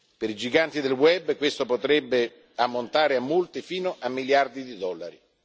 Per i giganti del web questo potrebbe ammontare a multe fino a miliardi di dollari.